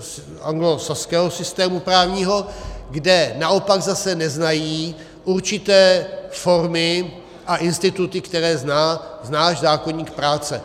z anglosaského systému právního, kde naopak zase neznají určité formy a instituty, které zná náš zákoník práce.